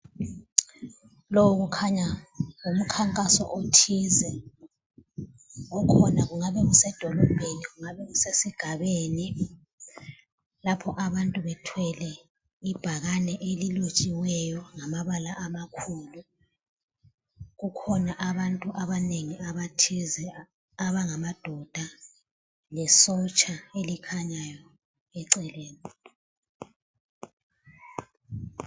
Lo kukhanya ngumkhankaso othize okhona kungabe kusedolobheni kungabe kusesigabeni lapho abantu bethwele ibhakane elilotshiweyo ngamabala amakhulu kukhona abantu abanengi abathize abangama doda le sotsha elikhanyayo eceleni.